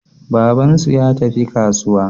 Babansu ya tafi kasuwa.